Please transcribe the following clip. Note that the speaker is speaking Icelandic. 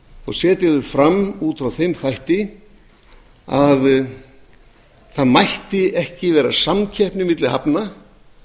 og setja þau fram út frá þeim þætti að það mætti ekki vera samkeppni milli hafna